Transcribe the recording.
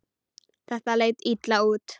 Þetta leit illa út.